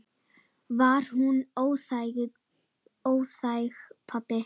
Var hún óþæg, pabbi?